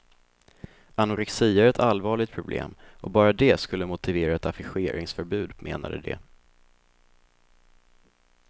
Anorexia är ett allvarligt problem och bara det skulle motivera ett affischeringsförbud, menade de.